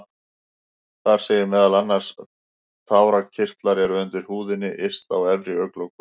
Þar segir meðal annars: Tárakirtlar eru undir húðinni yst á efri augnlokum.